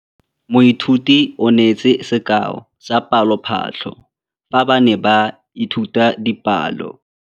Moithuti o neetse sekaô sa palophatlo fa ba ne ba ithuta dipalo.